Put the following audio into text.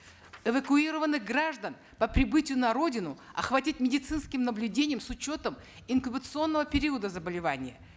эвакуированных граждан по прибытию на родину охватить медицинским наблюдением с учетом инкубационного периода заболевания